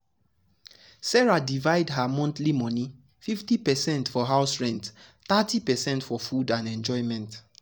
sarah divide her monthly money: 50 percent for house rent thirty percent for food and enjoyment.